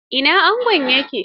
Ina angon ya ke?